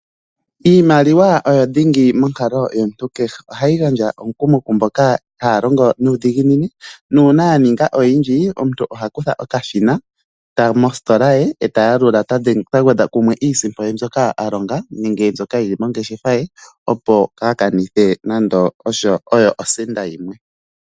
Iimaliwa oyo dhingi monkalo yomuntu kehe. Ohayi gandja omukumo kumboka haya longo nuudhiginini nuuna ya ninga oyindji, omuntu oha kutha okashina e ta yalula ta gwedha kumwe iisimpo ye mbyoka a longa nenge mbyoka yili mongeshefa opo kaa kanithe nande oyo osenda yimwe.